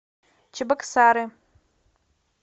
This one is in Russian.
чебоксары